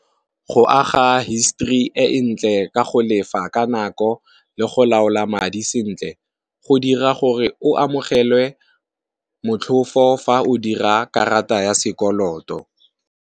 Go aga history e ntle ka go lefa ka nako, le go laola madi sentle go dira gore o amogelwe motlhofo fa o dira karata ya sekoloto.